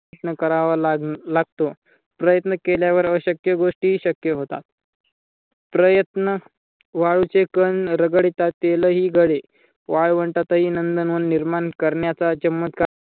प्रयत्न करावा लागतो. प्रयत्न केल्यावर अशक्य गोष्टी हि शक्य होतात. प्रयत्न वाळूचे कण रगडीता तेलही गळे वाळवंटातही नंदनवन निर्माण करण्याचा चमत्कार